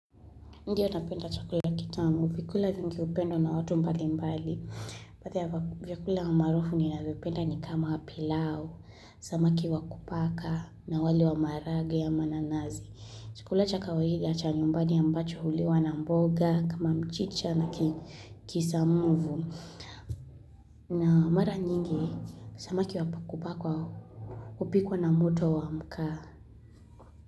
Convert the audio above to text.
Ndiyo napenda chakula kitamu, vyakula vingi hupendwa na watu mbalimbali baadhi ya vyakula maarufu ninavyopenda ni kama pilau, samaki wa kupaka na wali wa maharage ya mananazi chakula cha kawaida cha nyumbani ambacho huliwa na mboga, kama mchicha na kisamvu na mara nyingi, samaki wa kupaka hupikwa na moto wa makaa.